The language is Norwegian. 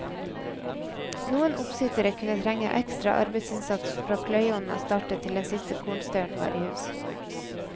Noen oppsittere kunne trenge ekstra arbeidsinnsats fra pløyeonna startet til den siste kornstauren var i hus.